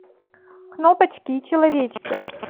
кнопочки и человечки